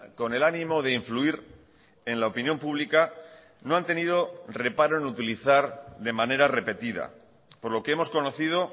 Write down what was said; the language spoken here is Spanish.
con el ánimo de influir en la opinión pública no han tenido reparo en utilizar de manera repetida por lo que hemos conocido